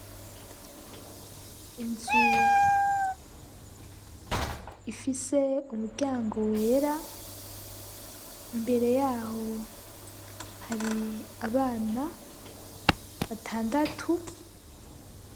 Inzu ifise umuryango wera imbere yaho hari abana batandatu.